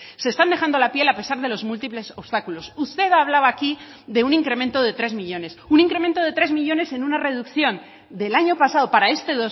se están dejando la piel a pesar de los múltiples obstáculos usted hablaba aquí de un incremento de tres millónes un incremento de tres millónes en una reducción del año pasado para este